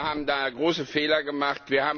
Also, wir haben da große Fehler gemacht.